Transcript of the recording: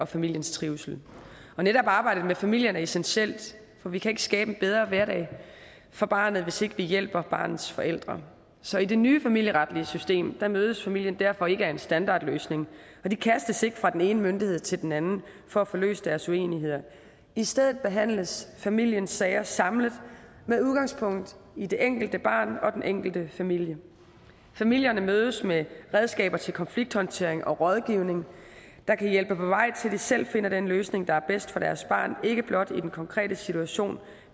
familiens trivsel netop arbejdet med er familien er essentielt for vi kan ikke skabe en bedre hverdag for barnet hvis ikke vi hjælper barnets forældre så i det nye familieretlige system mødes familien derfor ikke af en standardløsning og de kastes ikke fra den ene myndighed til den anden for at få løst deres uenigheder i stedet behandles familiens sager samlet med udgangspunkt i det enkelte barn og den enkelte familie familierne mødes med redskaber til konflikthåndtering og rådgivning der kan hjælpe på vej til at de selv finder den løsning der er bedst for deres barn ikke blot i den konkrete situation